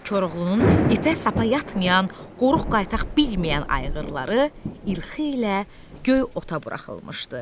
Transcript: Koroğlunun ipə-sapa yatmayan, qoruq qaytaq bilməyən ayğırları İlxi ilə göy ota buraxılmışdı.